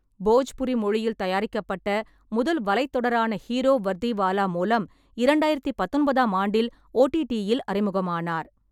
போஜ்புரி மொழியில் தயாரிக்கப்பட்ட முதல் வலைத் தொடரான ஹீரோ வர்திவாலா மூலம் இரண்டாயிரத்து பத்தொன்பதாம் ஆண்டில் ஓடிடி-யில் அறிமுகமானார்.